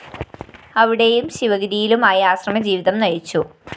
അവിടെയും ശിവഗിരിയിലുമായി ആശ്രമജീവിതം നയിച്ചു